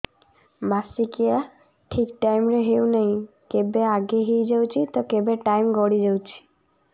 ମାସିକିଆ ଠିକ ଟାଇମ ରେ ହେଉନାହଁ କେବେ ଆଗେ ହେଇଯାଉଛି ତ କେବେ ଟାଇମ ଗଡି ଯାଉଛି